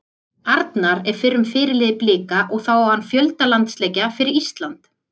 Arnar er fyrrum fyrirliði Blika og þá á hann fjölda landsleikja fyrir Ísland.